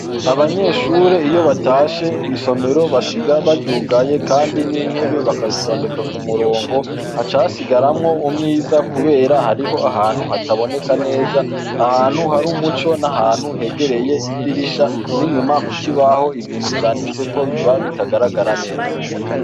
Abanyeshure iyo batashe, isomero basiga baryugaye kandi n'intebe bakazitondeka ku murongo. Haca hasigaramwo umwiza kubera hariho ahantu hataboneka neza, ahantu haba umuco n'ahantu hegereye idirisha n'inyuma ku kibaho, ibintu vyanditseko biba bitagaragara neza.